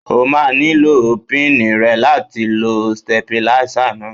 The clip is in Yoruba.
O máa nílò píìnì rẹ̀ láti lo stépìlà náà